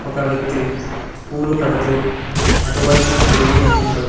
ఒక వ్యక్తి పూలు కడుతూ అటువైపున తిరిగి ఉన్నాడు.